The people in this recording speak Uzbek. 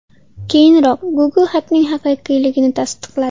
Keyinroq Google xatning haqiqiyligini tasdiqladi.